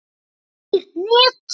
Ekkert net.